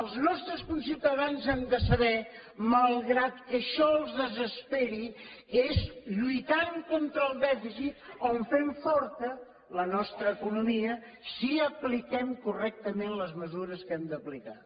els nostres conciutadans han de saber malgrat que això els desesperi que és lluitant contra el dèficit on fem forta la nostra economia si apliquem correctament les mesures que hem d’aplicar